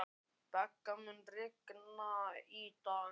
Begga, mun rigna í dag?